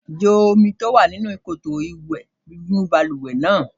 Jo omi tí ó wà nínú koto-ìwẹ́ inú balùwẹ̀ náà.